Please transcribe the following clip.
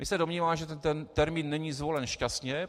My se domníváme, že ten termín není zvolen šťastně.